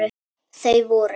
Þau voru